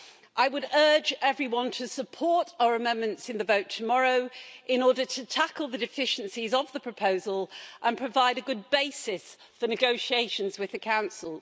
I would urge everyone to support our amendments in the vote tomorrow in order to tackle the deficiencies of the proposal and provide a good basis for negotiations with the Council.